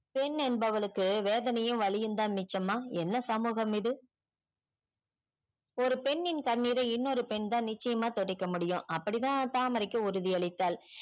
பெண் என்பவளுக்கு வேதனையும் வலியும் தான் மிச்சம்மா என்ன சமூகம் இது ஒரு பெண்ணின் கண்ணீரை இன்னொரு பெண் தான் நிச்சயம்மாய் தொடைக்க முடியும் அப்படிதா தாமரைக்கு உறுதி அளித்தால்